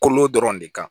Kolo dɔrɔn de kan